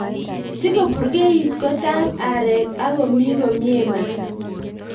Sikoburkeit kotab arek ak komi komie maat.